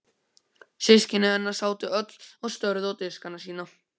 Systkini hennar sátu öll og störðu á diskana sína.